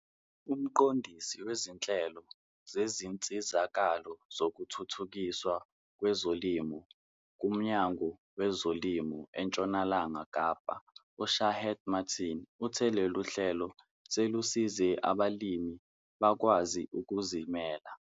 Umqondisi wezinhlelo zezinsizakalo zokuthuthukiswa kwezolimo kuMnyango weZolimo eNtshonalanga Kapa u-Shaheed Martin uthe lolu hlelo selusize abalimi bakwazi ukuzimela.